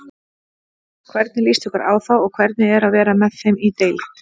Hvernig líst ykkur á það og hvernig er að vera með þeim í deild?